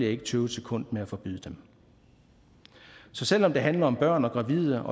ikke tøve et sekund med at forbyde dem så selv om det handler om børn og gravide